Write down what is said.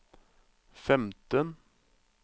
femten